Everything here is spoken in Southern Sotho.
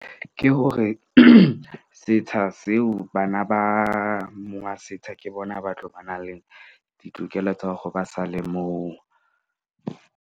Ke hore, setsha seo bana ba monga setsha ke bona ba tlo ba na le ditokelo tsa hore ba sa le moo.